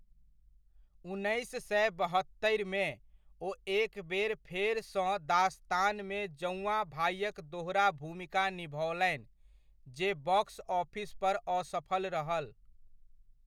उन्नैस सए बहत्तरिमे, ओ एकबेर फेरसँ दास्तानमे जौआँ भाइक दोहरा भूमिका निभओलनि, जे बॉक्स ऑफिस पर असफल रहल।